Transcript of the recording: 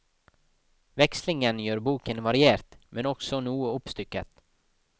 Vekslingen gjør boken variert, men også noe oppstykket.